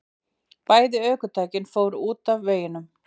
Bæði ökutækin fóru út af veginum